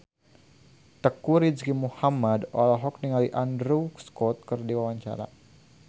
Teuku Rizky Muhammad olohok ningali Andrew Scott keur diwawancara